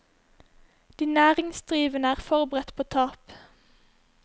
De næringsdrivende er forberedt på tap.